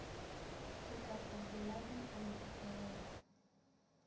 sekaku boladu a no felaa